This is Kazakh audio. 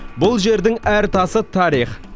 бұл жердің әр тасы тарих